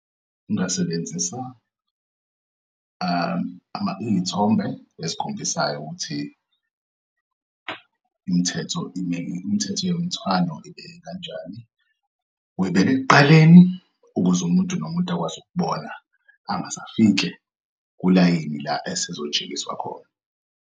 Ngingasebenzisa izithombe ezikhombisayo ukuthi im'thetho imithetho yomthwalo ibe kanjani uyibek'ekuqaleni ukuze umuntu nomuntu akwazi ukubona angasafike kulayini la esezotshengiswa khona.